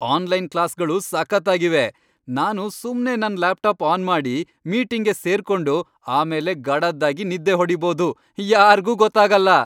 Online ಕ್ಲಾಸ್ಗಳು ಸಖತ್ತಾಗಿವೆ. ನಾನು ಸುಮ್ನೇ ನನ್ ಲ್ಯಾಪ್ಟಾಪ್ ಆನ್ ಮಾಡಿ ಮೀಟಿಂಗ್ಗೆ ಸೇರ್ಕೊಂಡು ಆಮೇಲೆ ಗಡದ್ದಾಗಿ ನಿದ್ದೆ ಹೊಡೀಬೋದು.. ಯಾರ್ಗೂ ಗೊತ್ತಾಗಲ್ಲ.